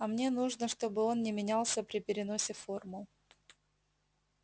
а мне нужно чтобы он не менялся при переносе формул